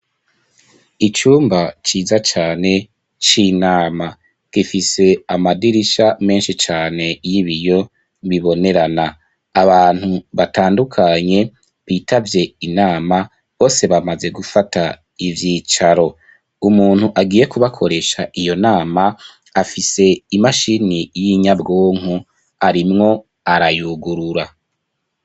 Icumba ciza cane c'inama gifise amadirisha menshi cane y'ibiyo bibonerana abantu batandukanye bitavye inama bose bamaze gufata ivyicaro umuntu agiye kubakoresha iyo nama afise imashini y'inyabwonko arimwo arayugurura.